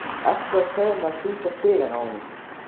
Ertu að segja mér að þú sért. hrifin af honum?